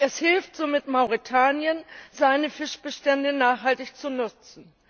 Es hilft somit Mauretanien, seine Fischbestände nachhaltig zu nutzen.